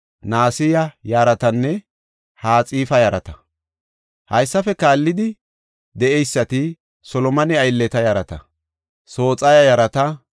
Di7etethaafe simmida Xoossa keethan ootheysatinne solomone aylleta tayboy 392.